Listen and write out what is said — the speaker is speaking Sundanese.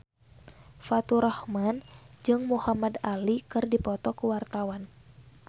Faturrahman jeung Muhamad Ali keur dipoto ku wartawan